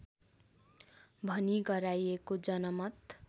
भनी गराइएको जनमत